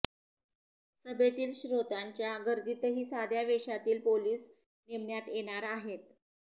सभेतील श्रोत्यांच्या गर्दीतही साध्या वेषातील पोलीस नेमण्यात येणार आहेत